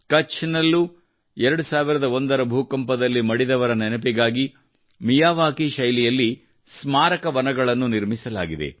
ಕಚ್ ನಲ್ಲೂ 2001ರ ಭೂಕಂಪದಲ್ಲಿ ಮಡಿದವರ ನೆನಪಿಗಾಗಿ ಮಿಯಾವಾಕಿ ಶೈಲಿಯಲ್ಲಿ ಸ್ಮಾರಕ ವನವನ್ನು ನಿರ್ಮಿಸಲಾಗಿದೆ